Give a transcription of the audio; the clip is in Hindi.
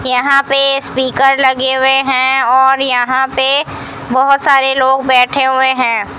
यहां पे स्पीकर लगे हुए हैं और यहां पे बहुत सारे लोग बैठे हुए हैं।